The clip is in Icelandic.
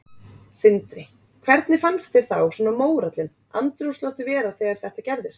Sindri: Hvernig fannst þér þá svona mórallinn, andrúmsloftið vera þegar þetta gerðist?